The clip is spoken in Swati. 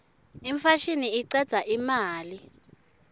imfashini icedza imali